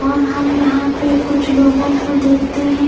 और हम यहा पे कुछ लोगो को देखते है।